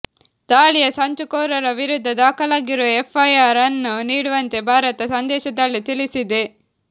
ದಾಳಿಯ ಸಂಚುಕೋರರ ವಿರುದ್ಧ ದಾಖಲಾಗಿರುವ ಎಫ್ಐಆರ್ ಅನ್ನು ನೀಡುವಂತೆ ಭಾರತ ಸಂದೇಶದಲ್ಲಿ ತಿಳಿಸಿದೆ